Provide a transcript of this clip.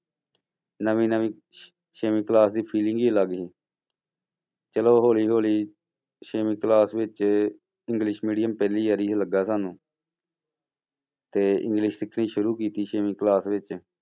ਨਵੀਂ ਨਵੀਂ ਛੇਵੀਂ class ਦੀ feeling ਹੀ ਅਲੱਗ ਸੀ ਚਲੋ ਹੌਲੀ ਹੌਲੀ ਛੇਵੀਂ class ਵਿੱਚ english medium ਪਹਿਲੀ ਵਾਰੀ ਲੱਗਾ ਸਾਨੂੰ ਤੇ english ਸਿੱਖਣੀ ਸ਼ੁਰੂ ਕੀਤੀ ਛੇਵੀਂ class ਵਿੱਚ